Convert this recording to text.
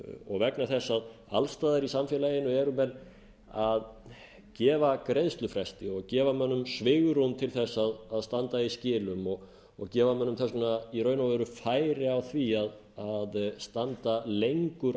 og vegna þess að alls staðar í samfélaginu eru menn að gefa greiðslufresti og gefa mönnum svigrúm til að standa í skilum og gefa mönnum þess vegna í raun og veru færi á því að standa lengur